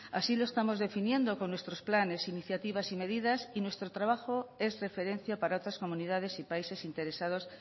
así lo estamos definiendo con nuestro planes iniciativas y medidas y nuestro trabajo es referencia para otras comunidades y países interesados